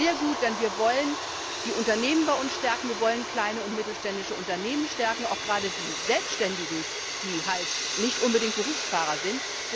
Es ist sehr gut, denn wir wollen die Unternehmen bei uns stärken, wir wollen kleine und mittelständische Unternehmen stärken, auch gerade die Selbständigen, die nicht unbedingt Berufsfahrer sind.